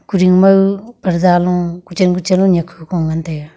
kudingmau parda lu kuchen kuchen le niak hu ku ngan taiga.